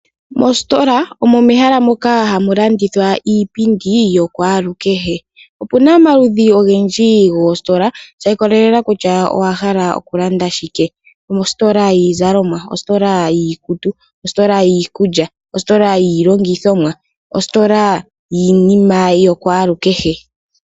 Mositola omo mehala moka hamu landithwa iipundi yokwalukehe. Opuna omaludji ogendji goositola sha ikolelela kutya owa hala okulanda shike. Omositola yiizalomwa, ositola yiikutu, ositola yiikulya, ositola yiilongithomwaa, ositola yiinima yokwalukehe.